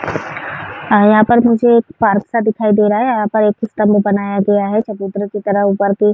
यहाँ पर मुझे एक परसा दिखाई दे रहा है। यहाँ पर बनाया गया है। --